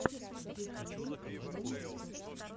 в ютюбе демо рецепт